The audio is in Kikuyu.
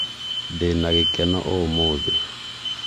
ndĩna gĩkeno ũmũthĩ